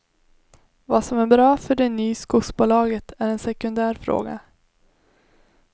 Vad som är bra för det ny skogsbolaget är en sekundär fråga.